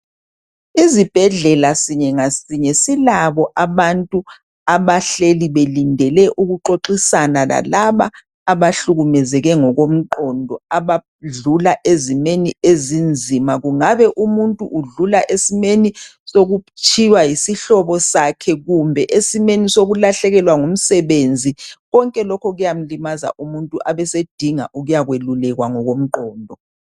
Izibhedlela sinye ngasinye silabo abantu abahleli belindele ukuxoxisana lalabo abahlukumezeke ngokomqondo abadlula ezimeni ezinzima. Kungabe umuntu udlula esimeni sokutshiywa yisihlobo sakhe kumbe esimeni sokulahlekelwa ngumsebenzi konke lokhu kuyamlimaza umuntu abesedinga ukuyakwelulekwa ngokomqondo.